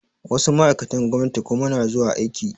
Wasu ma'aikatan gwamnati kuma na zuwa aiki